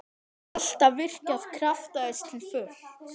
Alltaf virkjað krafta þess til fulls.